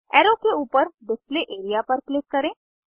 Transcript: arrow के ऊपर display area पर क्लिक करें